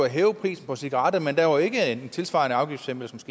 hæve prisen på cigaretter men der var ikke en tilsvarende afgiftslempelse